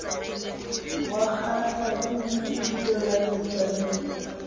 wakgahlwa ke lefiso la metsaneng